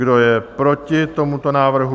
Kdo je proti tomuto návrhu?